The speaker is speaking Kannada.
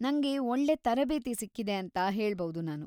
ನಂಗೆ ಒಳ್ಳೇ ತರಬೇತಿ ಸಿಕ್ಕಿದೆ ಅಂತ ಹೇಳ್‌ಬೌದು ನಾನು.